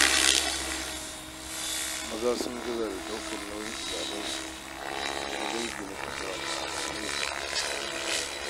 Maza sun gaza da ɗaukar nauyin iyalansu da danginsu na kusa da nesa